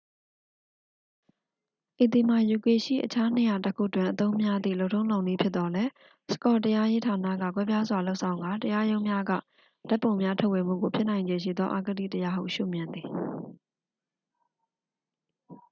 ဤသည်မှာ ယူကေရှိ အခြားနေရာတစ်ခုတွင် အသုံးများသည့် လုပ်ထုံးလုပ်နည်းဖြစ်သော်လည်း စကော့တရားရေးဌာနက ကွဲပြားစွာ လုပ်ဆောင်ကာ တရားရုံးများက ဓာတ်ပုံများ ထုတ်ဝေမှုကို ဖြစ်နိုင်ခြေရှိသော အဂတိတရားဟု ရှုမြင်သည်